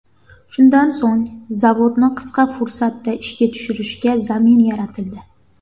Shundan so‘ng zavodni qisqa fursatda ishga tushirishga zamin yaratildi.